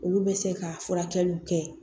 Olu bɛ se ka furakɛliw kɛ